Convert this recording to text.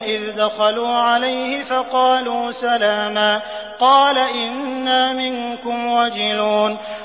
إِذْ دَخَلُوا عَلَيْهِ فَقَالُوا سَلَامًا قَالَ إِنَّا مِنكُمْ وَجِلُونَ